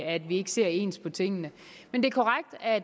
at vi ikke ser ens på tingene